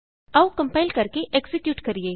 ਆਉ ਕੰਪਾਇਲ ਕਰਕੇ ਐਕਜ਼ੀਕਿਯੂਟ ਕਰੀਏ